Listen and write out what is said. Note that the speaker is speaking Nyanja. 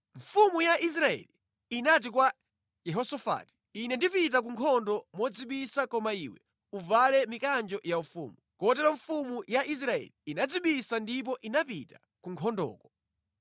Mfumu ya Israeli inati kwa Yehosafati, “Ine ndipita ku nkhondo modzibisa koma iwe uvale mikanjo yaufumu.” Kotero mfumu ya Israeli inadzibisa ndipo inapita ku nkhondoko.